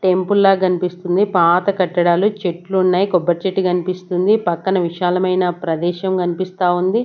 Temple లా కనిపిస్తుంది పాత కట్టడాలు చెట్లు ఉన్నాయి కొబ్బరి చెట్టు కనిపిస్తుంది పక్కన విశాలమైన ప్రదేశం కనిపిస్తా ఉంది.